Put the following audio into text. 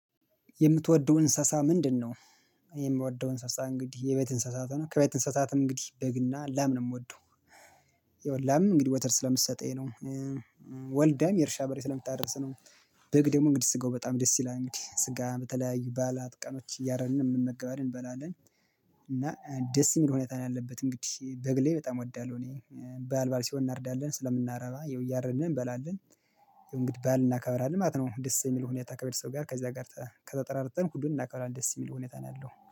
የምትወደው እንስሳ ምንድነው? የምወደው እንስሳ እንግዲህ የቤት እንስሳት ሆኖ ከቤት እንስሳትም እንግዲህ በግና ላም የምወደው ይኸውልህ ላም እንግዲህ ወተት ስለምትሰጠኝ ነው። ወልዳም የእርሻ በሬ ስለምታደርስ ነው። በግ ደግሞ እንግዲህ ስጋው በጣም ደስ ይላል እንግዲህ ስጋ በተለያዩ ባዓላት ቀኖች እያረድን እንመገባለን እንበላለን። እና ደስ የሚል ሁኔታ ነው ያለበት እንግዲህ በግሌ በጣም እወዳለሁ። እኔ ባዓል ባዓል ሲሆን እናርዳለን ስለምናረባ ይኸው እያረደን እንበላለን። ይኸው እንግዲ ባዓል እናከብራለን ማለት ነው። ደስ የሚል ሁኔታ ከቤተሰብ ጋር ከዚያ ጋር ተጠራርተን ሁሉን እናከብራለን ደስ የሚል ሁኔታ ነው ያለው